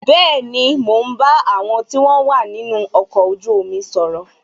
Bẹẹni, mo ń bá àwọn tí wọn wà nínú ọkọ̀ ojú omi sọ̀rọ̀